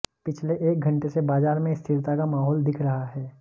पिछले एक घंटे से बाजार में स्थिरता का माहौल दिख रहा है